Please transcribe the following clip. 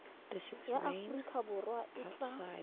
ya aforika borwa e tla